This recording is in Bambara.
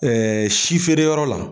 si feereyɔrɔ la